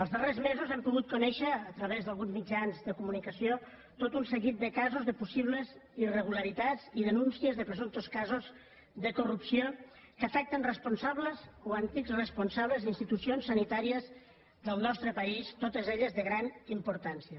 els darrers mesos hem pogut conèixer a través d’alguns mitjans de comunicació tot un seguit de casos de possibles irregularitats i denúncies de presumptes casos de corrupció que afecten responsables o antics responsables d’institucions sanitàries del nostre país totes elles de gran importància